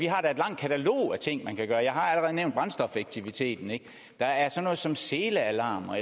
har et langt katalog af ting man kan gøre jeg har allerede nævnt brændstofeffektiviteten og der er sådan noget som selealarmer